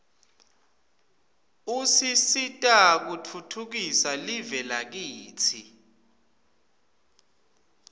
usisita kutfutfukisa live lakitsi